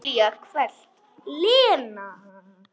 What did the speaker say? Júlía hvellt: Lena!